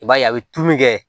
I b'a ye a bɛ tulu kɛ